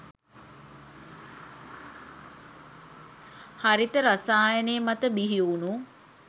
හරිත රසායනය මත බිහි වුනු